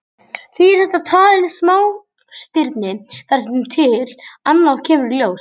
Því er þetta talin smástirni þar til annað kemur í ljós.